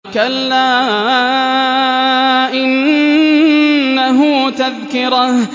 كَلَّا إِنَّهُ تَذْكِرَةٌ